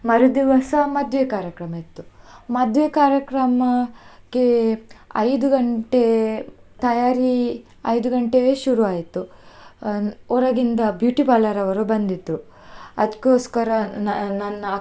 ಮರು ದಿವಸ ಮದ್ವೆ ಕಾರ್ಯಕ್ರಮ ಇತ್ತು ಮದ್ವೆ ಕಾರ್ಯಕ್ರಮಕ್ಕೆ ಐದು ಗಂಟೆ, ತಯಾರಿ ಐದು ಗಂಟೆಗೇ ಶುರು ಆಯ್ತು, ಹೊರಗಿಂದ beauty parlour ಅವರು ಬಂದಿದ್ರು, ಅದಕ್ಕೋಸ್ಕರ ನ~ ನನ್ನ.